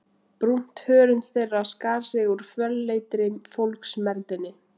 Brúnt hörund þeirra skar sig úr fölleitri fólksmergðinni.